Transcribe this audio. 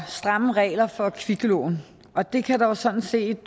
stramme regler for kviklån og det kan der jo sådan set